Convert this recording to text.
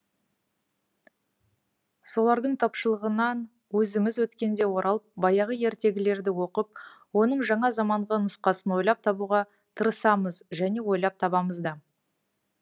солардың тапшылығынан өзіміз өткенде оралып баяғы ертегілерді оқып оның жаңа заманғы нұсқасын ойлап табуға тырысамыз және ойлап табамыз да